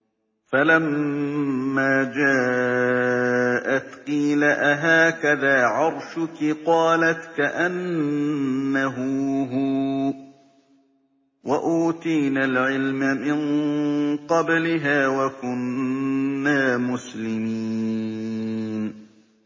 فَلَمَّا جَاءَتْ قِيلَ أَهَٰكَذَا عَرْشُكِ ۖ قَالَتْ كَأَنَّهُ هُوَ ۚ وَأُوتِينَا الْعِلْمَ مِن قَبْلِهَا وَكُنَّا مُسْلِمِينَ